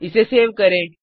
इसे सेव करें